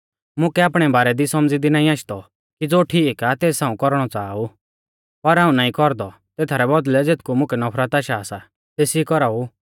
मुकै आपणै बारै दी सौमझ़ी दी नाईं आशदौ कि ज़ो ठीक आ तेस हाऊं कौरणौ च़ाहा ऊ पर हाऊं नाईं कौरदौ तेथारै बौदल़ै ज़ेथकु मुकै नफरत आशा सा तेसी कौराऊ